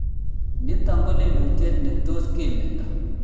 Nitok ko lelutiet ne tos kemeto